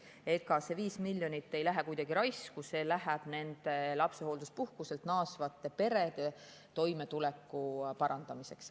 Ega see 5 miljonit ei lähe kuidagi raisku, see läheb lapsehoolduspuhkuselt naasvate perede toimetuleku parandamiseks.